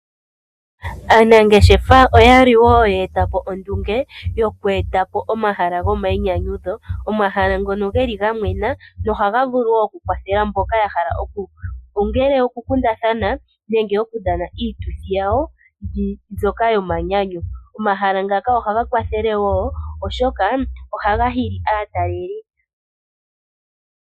Aanangeshefa oya li ye eta po ondunge yoku eta po omahala gomainyanyudho. Omahala ngono ga mwena nohaga vulu wo okukwathela mboka ya hala okukundatha nenge ya hala okudhana iituthi yawo yomanyanyu. Omahala ngaka ohaga hili wo aatalelipo.